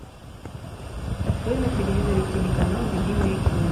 открой на телевизоре телеканал любимое кино